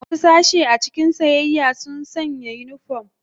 Wasu sashe a cikin siyayya sun sanna sa unifom.